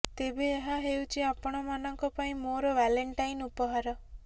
ତେବେ ଏହା ହେଉଛି ଆପଣମାନଙ୍କ ପାଇଁ ମୋର ଭାଲେଣ୍ଟାଇନ ଉପହାର